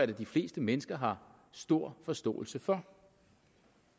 da de fleste mennesker har stor forståelse for